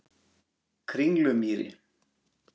Kringlumýri